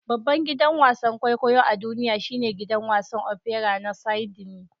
Babban gidan wasan kwaikwayo a duniya shine gidan wasan opera na Sydney.